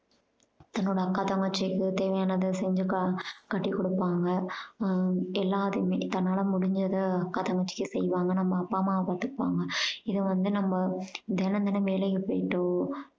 இப்போ இந்த அக்கா தங்கச்சிக்கு தேவையானத செஞ்சு க~ கட்டி கொடுப்பாங்க உம் எல்லாத்தையுமே கல்யாணம் முடிஞ்சுது அக்கா தங்கச்சி செய்வாங்க நம்ம அப்பா அம்மாவ பாத்துப்பாங்க. இதை வந்து நம்ம தினம் தினம் வேலைக்கு போயிட்டோ